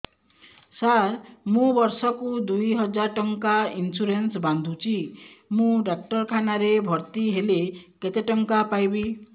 ସାର ମୁ ବର୍ଷ କୁ ଦୁଇ ହଜାର ଟଙ୍କା ଇନ୍ସୁରେନ୍ସ ବାନ୍ଧୁଛି ମୁ ଡାକ୍ତରଖାନା ରେ ଭର୍ତ୍ତିହେଲେ କେତେଟଙ୍କା ପାଇବି